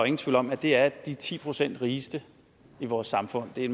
ingen tvivl om at det er de ti procent rigeste i vores samfund det er